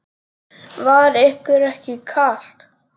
Var ykkur ekki kalt?